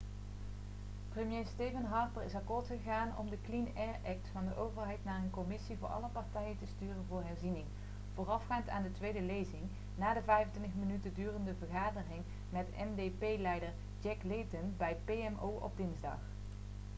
premier stephen harper is akkoord gegaan om de clean air act' van de overheid naar een commissie voor alle partijen te sturen voor herziening voorafgaand aan de tweede lezing na de 25 minuten durende vergadering met ndp-leider jack layton bij pmo op dinsdag